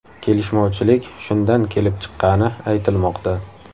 Kelishmovchilik shundan kelib chiqqani aytilmoqda.